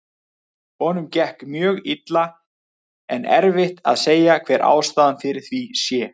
Honum gekk mjög illa en erfitt að segja hver ástæðan fyrir því sé.